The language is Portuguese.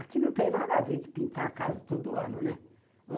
Aqui não tem nada a ver com pintar a casa todo ano, né?